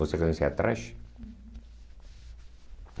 Você conhecia a Trash?